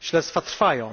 Śledztwa trwają.